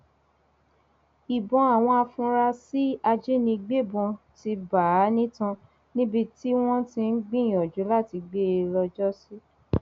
ìbọn àwọn afurasí ajínigbébọn ti bá a nítan níbi tí wọn ti ń gbìyànjú láti gbé e lọjọsí